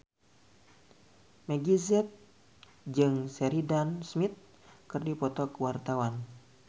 Meggie Z jeung Sheridan Smith keur dipoto ku wartawan